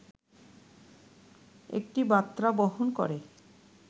একটি বার্তা বহন করে